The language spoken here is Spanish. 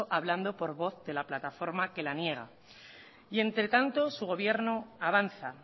hablando por voz de la plataforma que la niega y entre tanto su gobierno avanza